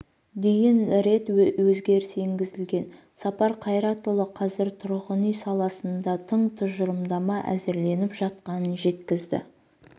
дейін рет өзгеріс енгізілген сапар қайратұлы қазір тұрғын үй саласында тың тұжырымдама әзірленіп жатқанын жеткізді